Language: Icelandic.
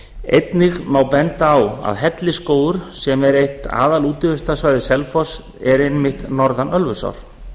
einnig má benda á að hellisskógur sem er eitt aðalútivistarsvæði selfoss er einmitt norðan ölfusár